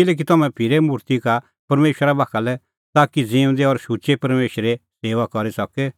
किल्हैकि तम्हैं फिरै मुर्ति का परमेशरा बाखा लै ताकि ज़िऊंदै और शुचै परमेशरे सेऊआ करी सके